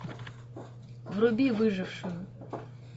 вруби выжившую